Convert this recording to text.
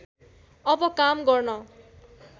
अब काम गर्न